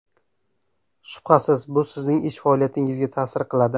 Shubhasiz, bu sizning ish faoliyatingizga ta’sir qiladi.